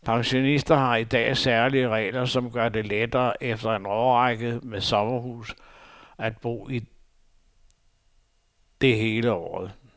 Pensionister har i dag særlige regler, som gør det lettere efter en årrække med sommerhus at bo i det hele året.